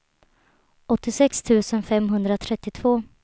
åttiosex tusen femhundratrettiotvå